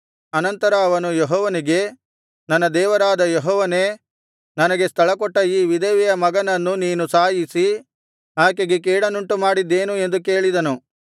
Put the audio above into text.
ಅನಂತರ ಅವನು ಯೆಹೋವನಿಗೆ ನನ್ನ ದೇವರಾದ ಯೆಹೋವನೇ ನನಗೆ ಸ್ಥಳಕೊಟ್ಟ ಈ ವಿಧವೆಯ ಮಗನನ್ನು ನೀನು ಸಾಯಿಸಿ ಆಕೆಗೆ ಕೇಡನ್ನುಂಟುಮಾಡಿದ್ದೇನು ಎಂದು ಕೇಳಿದನು